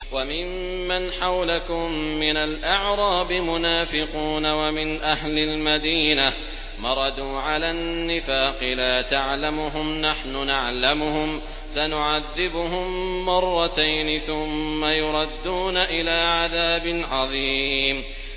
وَمِمَّنْ حَوْلَكُم مِّنَ الْأَعْرَابِ مُنَافِقُونَ ۖ وَمِنْ أَهْلِ الْمَدِينَةِ ۖ مَرَدُوا عَلَى النِّفَاقِ لَا تَعْلَمُهُمْ ۖ نَحْنُ نَعْلَمُهُمْ ۚ سَنُعَذِّبُهُم مَّرَّتَيْنِ ثُمَّ يُرَدُّونَ إِلَىٰ عَذَابٍ عَظِيمٍ